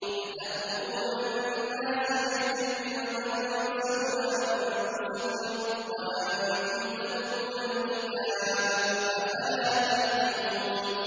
۞ أَتَأْمُرُونَ النَّاسَ بِالْبِرِّ وَتَنسَوْنَ أَنفُسَكُمْ وَأَنتُمْ تَتْلُونَ الْكِتَابَ ۚ أَفَلَا تَعْقِلُونَ